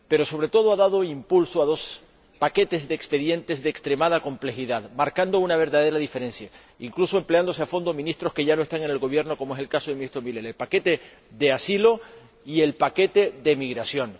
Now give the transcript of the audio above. Pero, sobre todo, ha dado impulso a dos paquetes de expedientes de extremada complejidad, marcando una verdadera diferencia, incluso empleándose a fondo ministros que ya no están en el Gobierno, como es el caso del Ministro Miller el paquete de asilo y el paquete de migración.